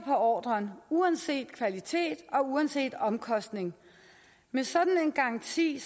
ordren uanset kvalitet og uanset omkostning med sådan en garanti